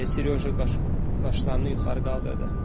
deyə Seryoja qaşlarını yuxarı qaldırdı.